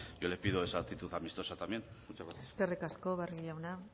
yo le pido esa actitud amistosa también muchas gracias eskerrik asko barrio jauna